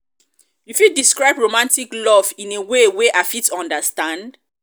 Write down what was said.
you fit describe romantic love in a way wey i fit understand?